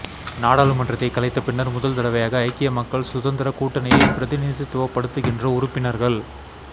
நாடாளுமன்றத்தை கலைத்த பின்னர் முதல் தடவையாக ஐக்கிய மக்கள் சுதந்திர கூட்டணியை பிரதிநிதித்துவப்படுத்துகின்ற உறுப்பினர்கள்